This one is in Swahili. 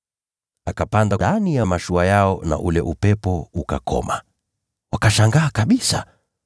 Akapanda ndani ya mashua nao, na ule upepo ukakoma! Wakashangaa kabisa,